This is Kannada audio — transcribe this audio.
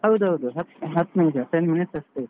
ಹೌದೌದು ಹತ್~ ಹತ್ ten minutes ಅಷ್ಟೆ.